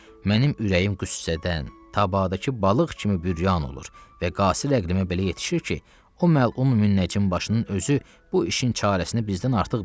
Mənim ürəyim qüssədən tabadakı balıq kimi büryan olur və qasir əqlimə belə yetişir ki, o məlum müəccim başının özü bu işin çarəsini bizdən artıq bilir.